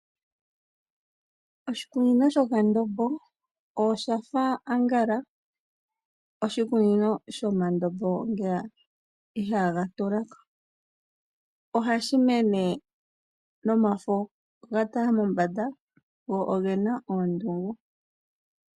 Oshikunino shoka ndombo oshafa angala oshikunino shomandombo ngeya ihaga tulako . Ohashi mene nomafo ga tala mombanda go ogena oondungu